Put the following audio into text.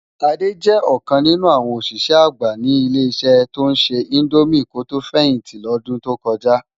Ade jè okàn ninú áwòn oṣiṣẹ ágbá ni ile-iṣẹ tó nṣè indómi kó tó fẹhinti lòdún tó kòjá